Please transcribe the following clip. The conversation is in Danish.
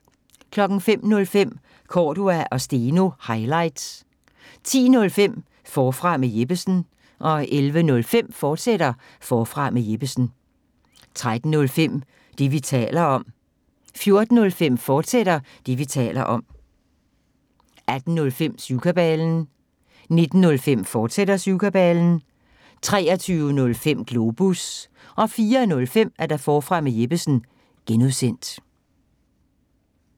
05:05: Cordua & Steno – highlights 10:05: Forfra med Jeppesen 11:05: Forfra med Jeppesen, fortsat 13:05: Det, vi taler om 14:05: Det, vi taler om, fortsat 18:05: Syvkabalen 19:05: Syvkabalen, fortsat 23:05: Globus 04:05: Forfra med Jeppesen (G)